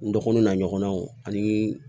N dɔgɔnun n'a ɲɔgɔnnaw ani